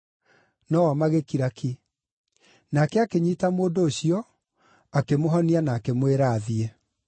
No-o magĩkira ki. Nake akĩnyiita mũndũ ũcio, akĩmũhonia na akĩmwĩra athiĩ.